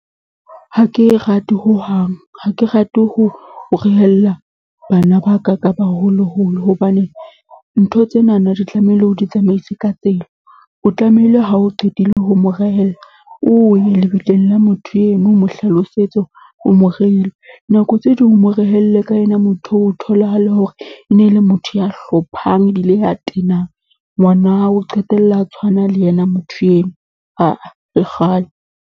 Ha ke e rate hohang, ha ke rate ho rehella bana ba ka, ka baholoholo. Hobane ntho tsenana di tlamehile o di tsamaise ka tsela, o tlamehile ha o qetile ho mo rehella, o ye lebitleng la motho eno, o mo hlalosetse o mo reile. Nako tse ding, o mo rehelle ka ena motho eo, o tholahale hore e ne e le motho ya hlophang ebile a tenang. Ngwana o qetella a tshwana le yena motho eo, le kgale.